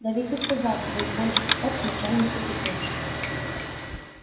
да ведь ты сказал что изволишь писать к начальнику петруши